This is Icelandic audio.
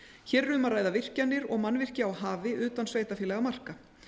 hér er um að ræða virkjanir og mannvirki á hafi utan sveitarfélagamarka